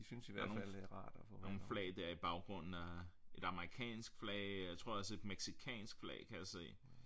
Der er nogle nogle flag dér i baggrunden af et amerikansk flag jeg tror også et mexicansk flag kan jeg se